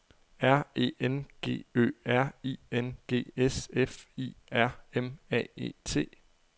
R E N G Ø R I N G S F I R M A E T